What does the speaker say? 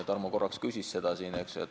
Tarmo korraks küsis selle kohta siin.